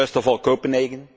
First of all, Copenhagen.